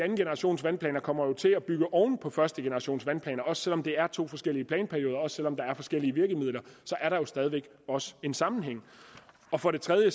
at andengenerationsvandplanerne kommer til at bygge oven på førstegenerationsvandplanerne også selv om det er to forskellige planperioder også selv om der er forskellige virkemidler så er der jo stadig væk en sammenhæng for det tredje